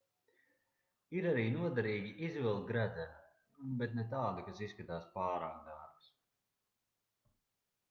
ir arī noderīgi izvilkt gredzenu bet ne tādu kas izskatās pārāk dārgs